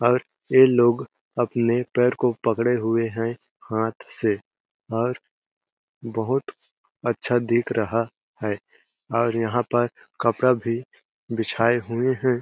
और ये लोग अपने पैर को पकड़े हुए है हाथ से और बहुत अच्छा दिख रहा है और यहाँ पर कपड़ा भी बिछाये हुए है।